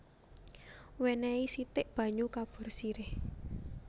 Wènèhi sithik banyu kapur sirih